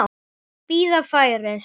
Bíða færis.